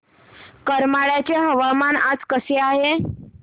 करमाळ्याचे हवामान आज कसे आहे